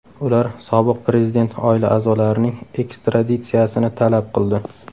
Ular sobiq prezident oila a’zolarining ekstraditsiyasini talab qildi.